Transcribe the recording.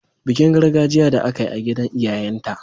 Bikin gargajiya da aka yi a gidan iyayenta.